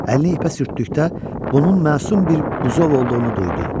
Əlini ipə sürtdükdə bunun məsum bir buzov olduğunu duydu.